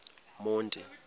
monti